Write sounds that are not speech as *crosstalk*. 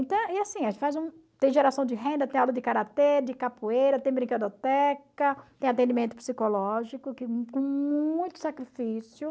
Então e assim, a gente faz um... Tem geração de renda, tem aula de karatê, de capoeira, tem brinquedoteca, tem atendimento psicológico *unintelligible* com muito sacrifício.